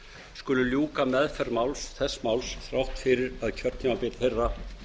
skulu ljúka meðferð þess máls þrátt fyrir að kjörtímabil þeirra